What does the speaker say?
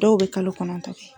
Dɔw bɛ kalo kɔnɔntɔn